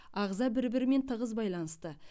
ағза бір бірімен тығыз баиланысты